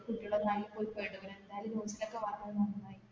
കുട്ടികളൊന്നായി പോയി പെടും എന്തായാലും news ലോക്കെ വന്നത് നന്നായി